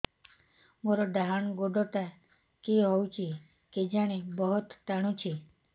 ମୋର୍ ଡାହାଣ୍ ଗୋଡ଼ଟା କି ହଉଚି କେଜାଣେ ବହୁତ୍ ଟାଣୁଛି